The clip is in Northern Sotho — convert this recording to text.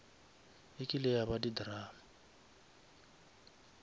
ekile ya ba di drama